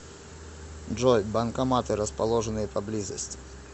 джой банкоматы расположенные поблизости